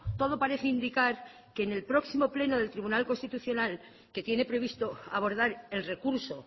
todo parece indicar que en el próximo pleno del tribunal constitucional que tiene previsto abordar el recurso